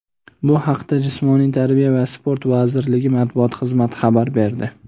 Bu haqda Jismoniy tarbiya va sport vazirligi Matbuot xizmati xabar berdi.